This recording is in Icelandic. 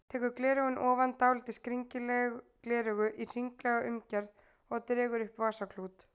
Tekur gleraugun ofan, dálítið skringileg gleraugu í hringlaga umgerð og dregur upp vasaklút.